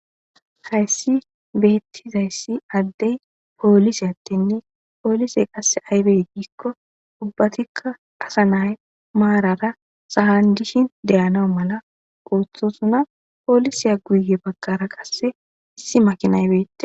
hayssi beettizayssi addey poolise attenne poolise qasse aybey giikko ubbatikka qasa nay maarara sahan dishin deyana mala quuthusuna poolisiya guye bagkara qasse issi makinaybeette